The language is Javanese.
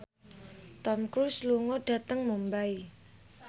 Tom Cruise lunga dhateng Mumbai